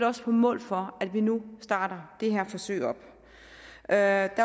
også på mål for at vi nu starter det her forsøg op der